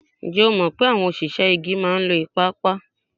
Ǹjẹ́ ẹ mọ̀ pé àwọn òṣìṣẹ́ igi máa ń lo ìpapa?